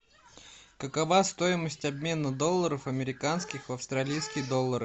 какова стоимость обмена долларов американских в австралийские доллары